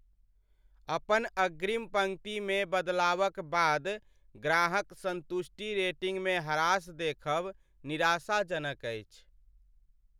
अपन अग्रिम पंक्तिमे बदलावक बाद ग्राहक संतुष्टि रेटिंगमे ह्रास देखब निराशाजनक अछि।